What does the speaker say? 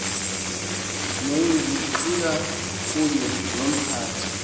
negqira kunye nomphathi